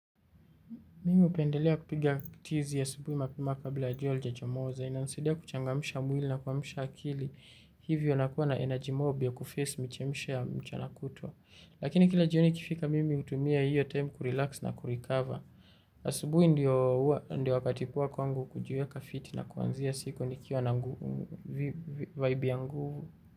Mimi hupendelea kupigia tizi asubuhi na mapema kabla jua halijachomoza. Inanisaidia kuchangamsha mwili na kuamsha akili, hivyo nakua na energy ya kufesi michosho ya mchana kutwa. Lakini kila jioni ikifika mimi hutumia hiyo time kurelax na kurikava. Asubuhi ndio wakati wa kwangu kujueka fit na kuanzia siku nikiwa na vibe ya nguvu.